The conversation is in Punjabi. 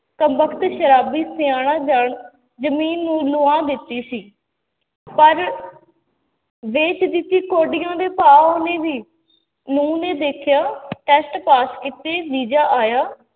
ਕਬਖਤ ਸਰਾਬੀ ਸਿਆਣਾ ਜਾਣ ਜ਼ਮੀਨ ਨੂੰ ਨੁਹਾ ਦਿੱਤੀ ਸੀ, ਪਰ ਵੇਚ ਦਿੱਤੀ ਕੋਡੀਆਂ ਦੇ ਭਾਅ ਉਹਨੇ ਵੀ, ਨਹੁੰ ਨੇ ਦੇਖਿਆ test ਪਾਸ ਕੀਤੇ ਵੀਜ਼ਾ ਆਇਆ